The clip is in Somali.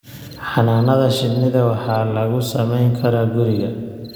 Xannaanada shinnida waxaa lagu samayn karaa guriga.